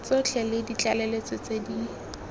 tsotlhe le ditlaleletso tse di